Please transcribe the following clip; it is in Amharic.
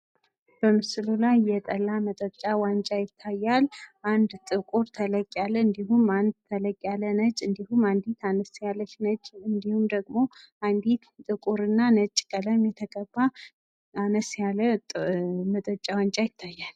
በምስሉ ላይ የጠላ መጠጫ ዋንጫ ይታያል ። አንድ ጥቁር ተለቅ ያለ እንዲሁም አንድ ተለቅ ያለ ነጭ እንዲሁም አንዲት አነስ ያለች ነጭ እንዲሁም ደግሞ አንዲት ጥቁር እና ነጭ ቀለም የተቀባ አነስ ያለ መጠጫ ዋንጫ ይታያል ።